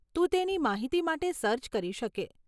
તું તેની માહિતી માટે સર્ચ કરી શકે.